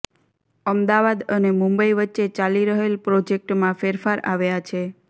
અમદાવાદ અને મુંબઇ વચ્ચે ચાલી રહેલ પ્રોજેક્ટમાં ફેરફાર આવ્યા છે